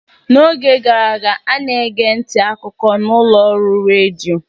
n'oge gara aga, a na-ege ntị akụkọ na ụlọ ọrụ redio